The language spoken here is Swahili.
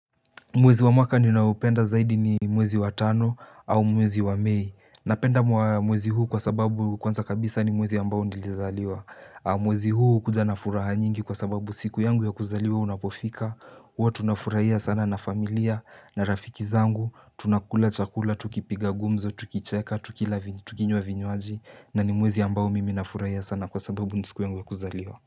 Mwezi wa mwaka niunaupenda zaidi ni mwezi wa tano au mwezi wa mei. Napenda mwezi huu kwa sababu kwanza kabisa ni mwezi ambao nilizaliwa. Mwezi huu hukuja na furaha nyingi kwa sababu siku yangu ya kuzaliwa unapofika. Huwa tunafurahia sana na familia na rafiki zangu. Tunakula chakula, tukipiga gumzo, tukicheka, tukila tukinywa vinywaji. Na ni mwezi ambao mimi na furahia sana kwa sababu ni siku yangu ya kuzaliwa.